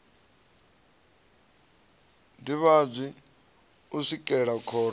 ḓivhadzwi u swikela khoro i